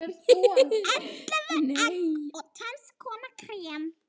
Ellefu egg og tvenns konar krem.